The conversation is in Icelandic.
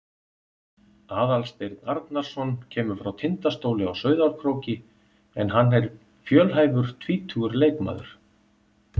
Aðalsteinn Arnarson kemur frá Tindastóli á Sauðárkróki en hann er fjölhæfur tvítugur leikmaður.